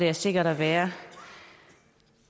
er sikkert at være